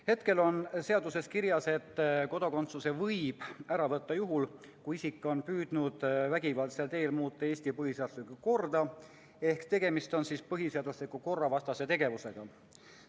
Hetkel on seaduses kirjas, et kodakondsuse võib ära võtta juhul, kui isik on püüdnud vägivaldsel teel muuta Eesti põhiseaduslikku korda ehk tegemist on põhiseadusliku korra vastase tegevusega.